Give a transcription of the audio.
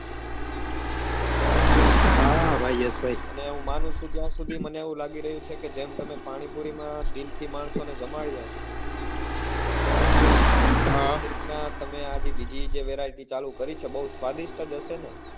અને હું માનું છું ત્યાં સુધી મને એવું લાગી રહ્યું કે જેમ તમે પાણીપુરી માં દિલ થી માણસો ને જમાડ્યા એ જ રીતે બીજી જે વેરાયટી ચાલુ કરી છે એ બઉ સ્વદીસ્ત જ હશે ને